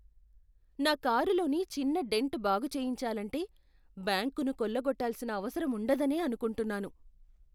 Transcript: నా కారులోని చిన్న డెంట్ బాగు చేయించాలంటే బ్యాంకును కొల్లగొట్టాల్సిన అవసరముండదనే అనుకుంటున్నాను.